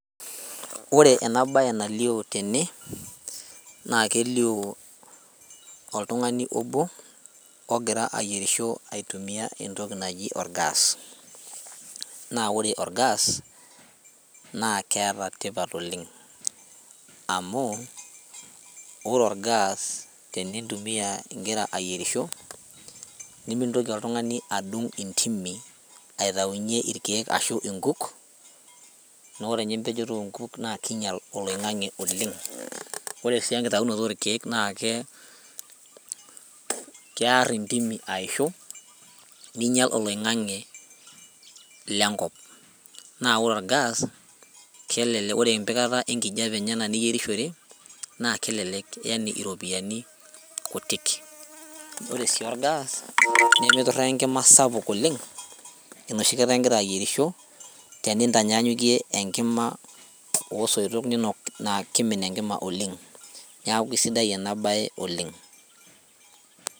Ore ena baye nalio tene naa kelio oltung'ani obo ogira ayierisho aitumia entoki naji orgas naa ore orgas naa keeta tipat oleng amu ore orgas tenintumia igira ayierisho nimintoki oltung'ani adung intimi aitaunyie irkeek ashu inkuk nore inye impejoto onkuk naa kinyial oloing'ang'e oleng ore sii enkitaunoto orkeek naake kearr intimi aishu ninyial oloing'ang'e lenkop naa ore orgas kelele ore empikata enkijape enye ena niyierishore naa kelelek yani iropiyiani kutik ore sii orgas nemiturraa enkima sapuk oleng enoshi kata ingira ayierisho tenintanyanyukie enkima osoitok ninok naa kimin enkima oleng niaku isidai ena baye oleng.